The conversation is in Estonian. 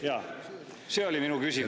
Jaa, see oli mu küsimus.